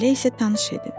Elə isə tanış edin.